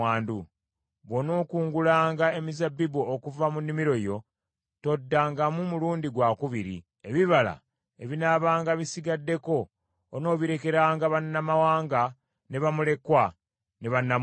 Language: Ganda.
Bw’onookungulanga emizabbibu okuva mu nnimiro yo, toddangamu mulundi gwakubiri. Ebibala ebinaabanga bisigaddeko onoobirekeranga bannamawanga, ne bamulekwa ne bannamwandu.